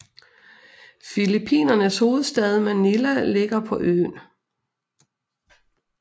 Filippinernes hovedstad Manila ligger på øen